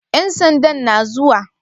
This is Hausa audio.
Ƴan sandan na zuwa?